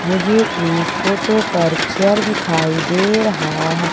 मुझे इस फोटो पर चेयर दिखाई दे रहा है।